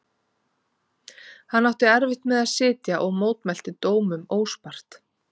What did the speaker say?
Hann átti erfitt með að sitja og mótmælti dómum óspart.